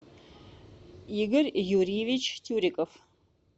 игорь юрьевич тюриков